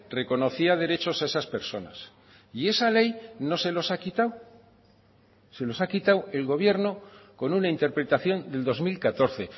reconocía derechos a esas personas y esa ley no se los ha quitado se los ha quitado el gobierno con una interpretación del dos mil catorce